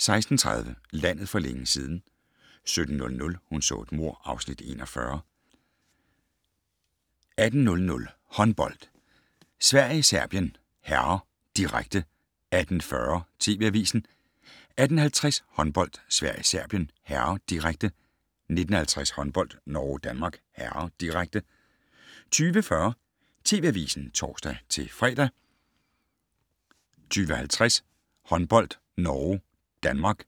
16:30: Landet for længe siden 17:00: Hun så et mord (Afs. 41) 18:00: Håndbold: Sverige-Serbien (m), direkte 18:40: TV Avisen 18:50: Håndbold: Sverige-Serbien (m), direkte 19:50: Håndbold: Norge-Danmark (m), direkte 20:40: TV Avisen (tor-fre) 20:50: Håndbold: Norge-Danmark